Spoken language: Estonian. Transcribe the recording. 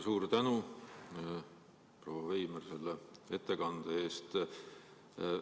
Suur tänu, proua Veimer, selle ettekande eest!